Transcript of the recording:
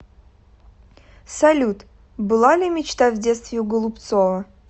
салют была ли мечта в детстве у голубцова